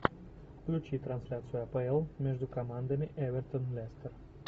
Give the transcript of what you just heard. включи трансляцию апл между командами эвертон лестер